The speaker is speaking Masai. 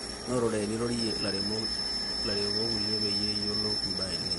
notore nirorie lairemok kulie peyie iyiolou mbaa eEl nino